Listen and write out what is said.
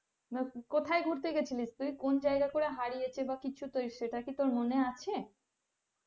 কোথায় ঘুরতে গেছিলিস তুই কোন জায়গা করে হারিয়েছে বা কিছু তুই সেটা কি তোর মনে আছে?